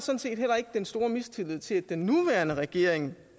en stor mistillid til at den nuværende regering